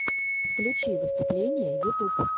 включи выступления ютуб